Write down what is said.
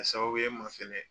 Sababu ye n ma fɛnɛ